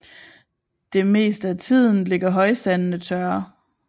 Det meste af tiden ligger højsandene tørre